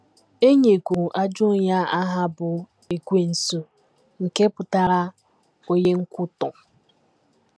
E nyekwuru ajọ onye a aha bụ́ “ Ekwensu, ” nke pụtara “ Onye Nkwutọ. ”